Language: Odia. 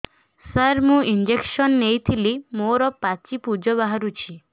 ସାର ମୁଁ ଇଂଜେକସନ ନେଇଥିଲି ମୋରୋ ପାଚି ପୂଜ ବାହାରୁଚି